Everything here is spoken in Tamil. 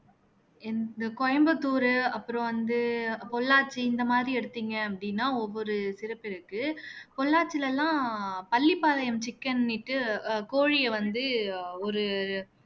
இந்த கோயம்புத்தூர் அப்புறம் வந்து பொள்ளாச்சி இந்த மாதிரி எடுத்தீங்க அப்படின்னா ஒவ்வொரு சிறப்பு இருக்கு பொள்ளாச்சில எல்லாம் பள்ளிப்பாளையம் chicken னுட்டு அஹ் கோழியை வந்து ஒரு